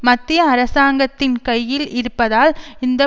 மத்திய அரசாங்கத்தின் கையில் இருப்பதால் இந்த